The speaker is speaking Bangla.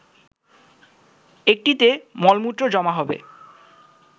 একটিতে মলমূত্র জমা হবে